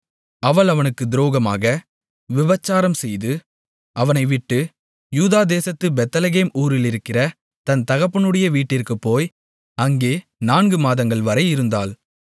அவள் அவனுக்குத் துரோகமாக விபச்சாரம்செய்து அவனை விட்டு யூதா தேசத்துப் பெத்லெகேம் ஊரிலிருக்கிற தன் தகப்பனுடைய வீட்டிற்குப் போய் அங்கே நான்கு மாதங்கள் வரை இருந்தாள்